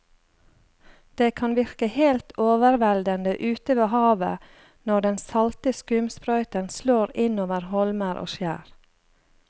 Det kan virke helt overveldende ute ved havet når den salte skumsprøyten slår innover holmer og skjær.